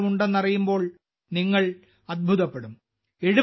ബിരുദങ്ങളും ഉണ്ടെന്നറിയുമ്പോൾ നിങ്ങൾ അത്ഭുതപ്പെടും